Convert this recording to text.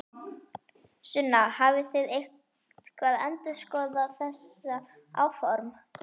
Sunna: Hafið þið eitthvað endurskoðað þessi áform?